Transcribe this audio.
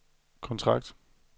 kontrakt